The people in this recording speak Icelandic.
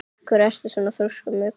Af hverju ertu svona þrjóskur, Muggur?